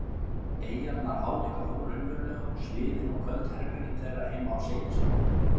eyjarnar álíka óraunverulegar og sviðin og köld herbergin þeirra heima á Seyðisfirði.